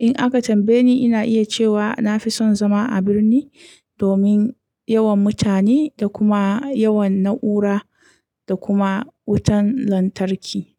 In aka tambaye ni, ina iya cewa na fi son zama a birni domin yawan mutane da kuma yawan na'ura da kuma wutan lantarki.